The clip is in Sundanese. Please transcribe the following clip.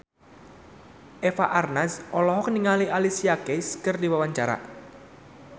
Eva Arnaz olohok ningali Alicia Keys keur diwawancara